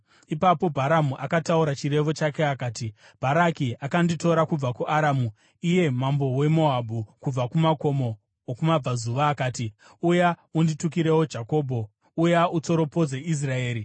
Ipapo Bharamu akataura chirevo chake akati: “Bharaki akanditora kubva kuAramu, iye mambo weMoabhu kubva kumakomo okumabvazuva. Akati, ‘Uya unditukirewo Jakobho; uya, utsoropodze Israeri.’